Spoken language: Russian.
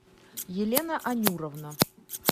елена анюровна